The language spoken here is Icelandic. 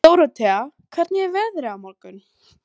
Dórótea, hvernig er veðrið á morgun?